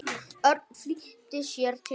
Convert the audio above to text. Örn flýtti sér til hans.